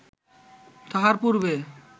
তাঁহার পূর্বে